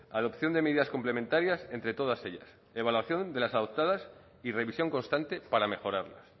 adopción de medidas complementarias entre todas ellas evaluación de las adoptadas y revisión constante para mejorarlas